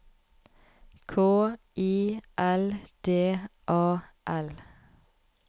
K I L D A L